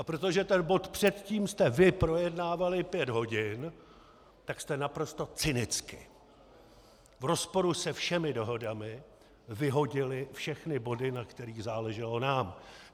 A protože ten bod předtím jste vy projednávali pět hodin, tak jste naprosto cynicky v rozporu se všemi dohodami vyhodili všechny body, na kterých záleželo nám.